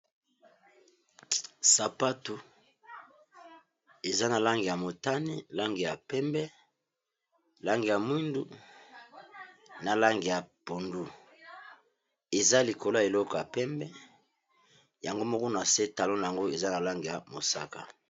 sapatu eza na lange ya motani lange ya pembe lange ya mwindu na lange ya pondu eza likolo ya eloko ya pembe yango mokuna se talona yango eza na lange ya mosaka